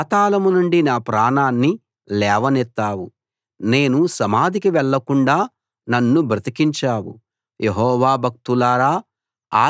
యెహోవా పాతాళం నుండి నా ప్రాణాన్ని లేవనెత్తావు నేను సమాధికి వెళ్ళకుండా నన్ను బతికించావు